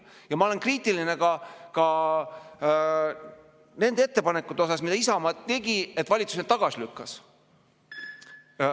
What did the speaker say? Ja ma olen kriitiline ka sellepärast, et valitsus need otsused, mida Isamaa tegi, tagasi lükkas.